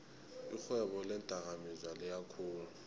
irhwebo leendakamizwa liyakhula